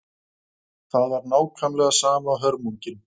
Það var alveg nákvæmlega sama hörmungin.